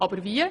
Aber wie?